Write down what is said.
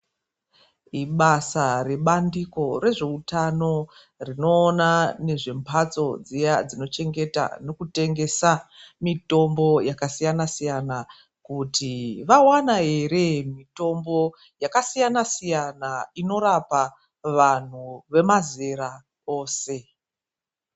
Ibasa rebandiko rezveutano rinoona nezve mhatso dziya dzinochengeta nekutengesa mitombo yakasiyana siyana, kuti vawana here mitombo yakasiyana siyana inorapa vanhu vemazera ose.